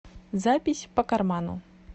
запись по карману